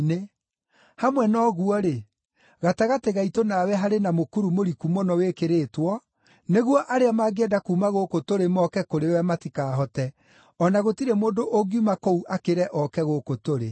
Hamwe na ũguo-rĩ, gatagatĩ gaitũ nawe harĩ na mũkuru mũriku mũno wĩkĩrĩtwo, nĩguo arĩa mangĩenda kuuma gũkũ tũrĩ moke kũrĩ we matikaahote, o na gũtirĩ mũndũ ũngiuma kũu akĩre ooke gũkũ tũrĩ.’